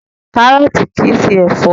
Kárọ̀tì kìí ṣe ẹ̀fọ́.